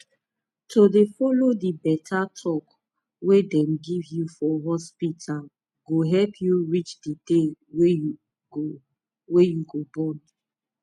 to dey follow di beta talk wey dem give you for hospita go help u reach di day wey u go wey u go born